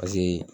Paseke